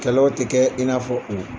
Kɛlaw tɛ kɛ i n'afɔ o.